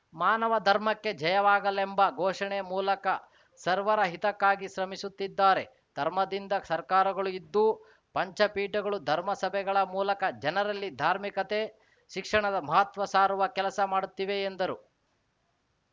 ಮಾನವ ಧರ್ಮಕ್ಕೆ ಜಯವಾಗಲೆಂಬ ಘೋಷಣೆ ಮೂಲಕ ಸರ್ವರ ಹಿತಕ್ಕಾಗಿ ಶ್ರಮಿಸುತ್ತಿದ್ದಾರೆ ಧರ್ಮದಿಂದ ಸರ್ಕಾಗಳು ಇದ್ದು ಪಂಚಪೀಠಗಳು ಧರ್ಮ ಸಭೆಗಳ ಮೂಲಕ ಜನರಲ್ಲಿ ಧಾರ್ಮಿಕತೆ ಶಿಕ್ಷಣದ ಮಹತ್ವ ಸಾರುವ ಕೆಲಸ ಮಾಡುತ್ತಿವೆ ಎಂದರು